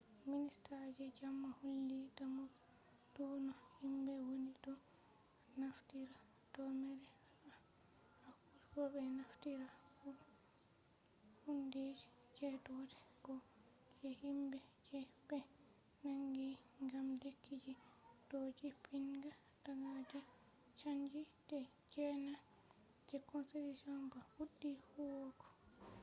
minista je jamoo holli damugo dou no himbe woni do naftira do mere acchugo be naftira hundeji je doder bo je himbe je be nangi gam lekkiji do jippinga daga de changi je na je constitution ba fuddi huwugo